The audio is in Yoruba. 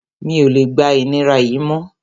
Mi ò lè gba ìnira yìí mọ́